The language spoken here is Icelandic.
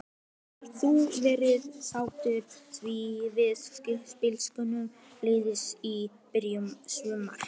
Hefur þú verið sáttur við spilamennskuna liðsins í byrjun sumars?